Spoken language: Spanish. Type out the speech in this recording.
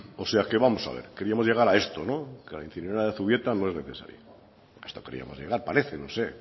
o sea que vamos a ver queríamos llegar a esto la incineradora de zubieta no es necesaria a esto queríamos llegar parece no sé